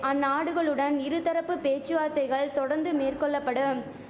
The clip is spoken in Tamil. அந்நாடுகளுடன் இருதரப்பு பேச்சு வார்த்தைகள் தொடர்ந்து மேற்கொள்ள படும்